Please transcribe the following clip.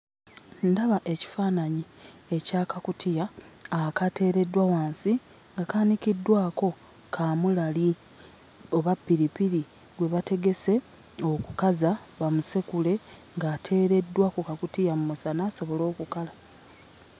Ndaba ekifaananyi aky'akakutiya akateereddwa wansi nga kaanikiddwako kaamulali oba ppiripiri gwe bategese okukaza, bamusekule ng'ateereddwa ku kakutiya mu musana asobole okukala.